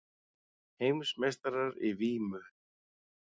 Heimsmeistarar í vímu